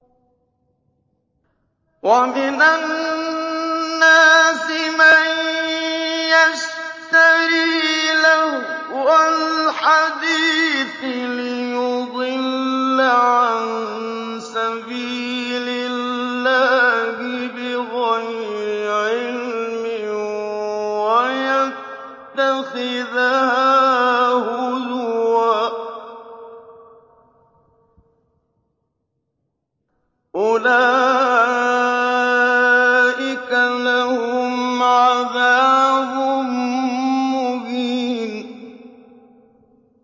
وَمِنَ النَّاسِ مَن يَشْتَرِي لَهْوَ الْحَدِيثِ لِيُضِلَّ عَن سَبِيلِ اللَّهِ بِغَيْرِ عِلْمٍ وَيَتَّخِذَهَا هُزُوًا ۚ أُولَٰئِكَ لَهُمْ عَذَابٌ مُّهِينٌ